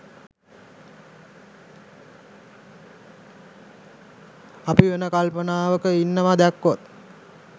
අපි වෙන කල්පනාවක ඉන්නවා දැක්කොත්